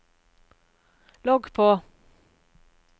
logg på